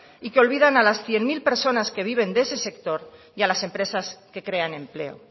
y que olvidan a las cien mil personas que viven de ese sector y a las empresas que crean empleo